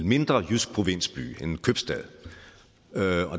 mindre jyske provinsby en købstad